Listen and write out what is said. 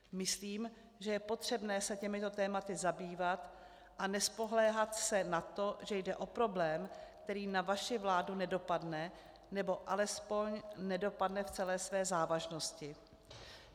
Myslím, že je potřebné se těmito tématy zabývat a nespoléhat se na to, že jde o problém, který na vaši vládu nedopadne, nebo alespoň nedopadne v celé své závažnosti.